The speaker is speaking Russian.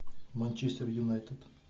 манчестер юнайтед